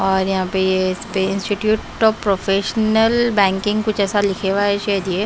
और यहां पे ये स्पेस पे इंस्टिट्यूट ऑफ प्रोफेशनल बैंकिंग कुछ ऐसा लिखा हुआ है शजीए--